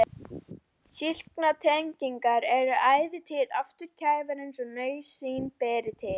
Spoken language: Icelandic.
Slíkar tengingar eru ætíð afturkræfar eins og nauðsyn ber til.